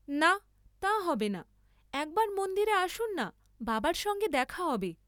না, তা হবে না, একবার মন্দিরে আসুন না, বাবার সঙ্গে দেখা হবে।